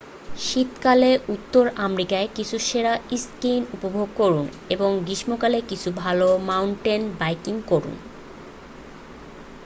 শীতকালে উত্তর আমেরিকায় কিছু সেরা স্কিইং উপভোগ করুন এবং গ্রীষ্মকালে কিছু ভালো মাউন্টেন বাইকিং করুন